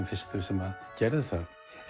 fyrstu sem gerðum það